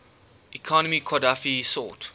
economy qadhafi sought